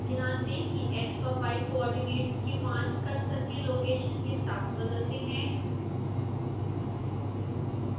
ध्यान दें कि x और y coordinates के मान कर्सर के लोकेशन के साथ बदलते हैं